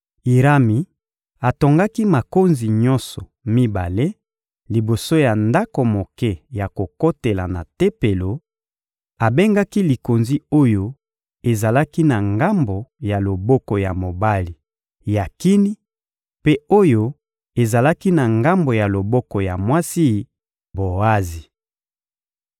Irami atongaki makonzi nyonso mibale liboso ya ndako moke ya kokotela na Tempelo; abengaki likonzi oyo ezalaki na ngambo ya loboko ya mobali Yakini, mpe oyo ezalaki na ngambo ya loboko ya mwasi, Boazi.